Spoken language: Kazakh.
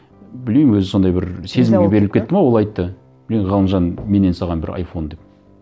білмеймін өзі сондай бір сезімге беріліп кетті ме ол айтты мен ғалымжан менен саған бір айфон деп